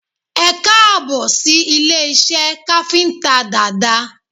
Ẹkáàbọ̀ sí ilé iṣẹ́ káfíntà Dada